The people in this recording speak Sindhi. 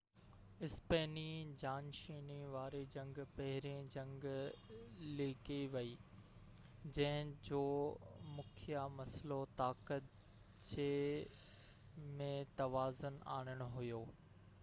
اسپيني جانشيني واري جنگ پهرين جنگ ليکي وئي جنهن جو مکيه مسئلو طاقت جي ۾ توازن آڻڻ هيو